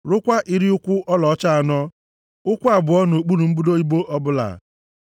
rụkwaa iri ụkwụ ọlaọcha anọ, ụkwụ abụọ nʼokpuru mbudo ibo ọbụla.